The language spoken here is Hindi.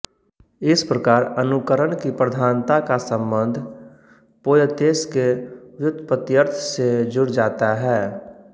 इस प्रकार अनुकरण की प्रधानता का सम्बन्ध पोयतेस के व्युत्पत्यर्थ से जुड़ जाता है